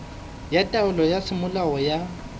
ya taelo ya semolao ya